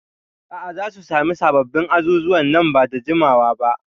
A'a, za su sami sabbin azuzuwa nan ba da jimawa ba.